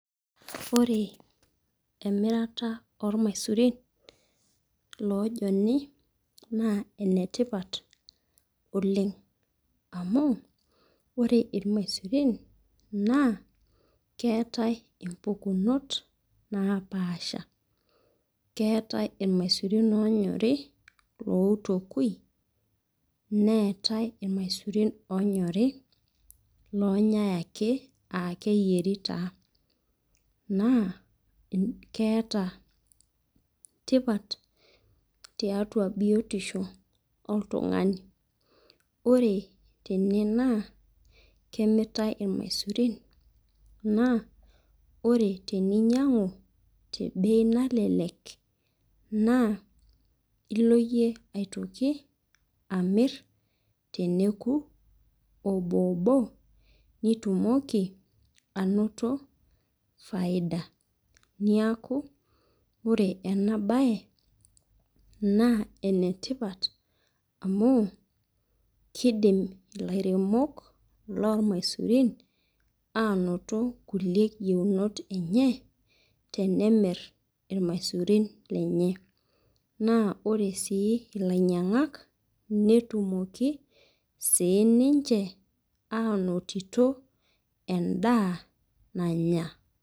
Ore emirata o ilmaisurin oojoni, naa ene tipat oleng' amu, ore ilmaisurin naa ketai impukunot napaasha, Keatai ilmaisurin oonyori lloitooki, neatai ilmaisurin oonyori, oonyai ake aa keyieri taa, naa keata tipat tiatua biotisho oltung'ani. Ore tene naa kemiritai ilmaisurin, naa ore teninyang'u te bei nalelek naa ilo iyie aitoki amir teneoku oboobo nitumoki ainoto faida. Neaku ore ena baye naa ene tipat amu, keidim ilairemok looilmaisurin ainoto kulie yeunot kulie enye tenemir ilmaisurin lenye, naa ore sii ninche ilainyang'ak naa keidim sii ninche ainotito endaa nanya.